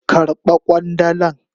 Karba kwandalan.